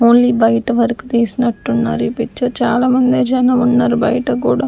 only బయట వరకు తీసినట్టున్నారు ఈ పిక్చర్ చాలామందే జనం ఉన్నారు బయట గూడా--